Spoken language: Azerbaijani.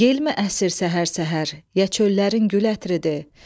Yelmi əsir səhər-səhər, ya çöllərin gül ətridir.